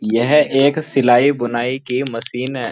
यह एक सिलाई बुनाई की मशीन है।